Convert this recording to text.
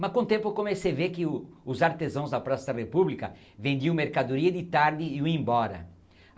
Mas, com o tempo, eu comecei ver que o, os artesãos da Praça da República vendiam mercadoria de tarde e iam embora.